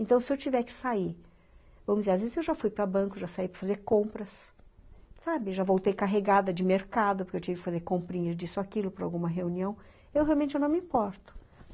Então, se eu tiver que sair, vamos dizer, às vezes eu já fui para banco, já saí para fazer compras, sabe, já voltei carregada de mercado, porque eu tive que fazer comprinhas disso, aquilo, para alguma reunião, eu realmente eu não me importo.